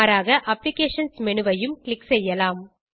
மாறாக applications menu ஐயும் click செய்யலாம்